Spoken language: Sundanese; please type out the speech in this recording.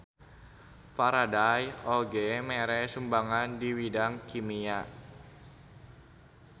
Faraday oge mere sumbangan di widang kimia.